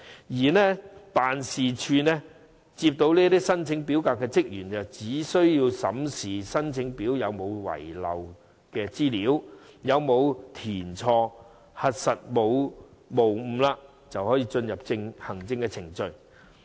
至於辦事處接收申請表格的職員，他們只須審視申請表有否遺漏資料、有否填寫錯誤，在核實無誤後，便可進入行政程序。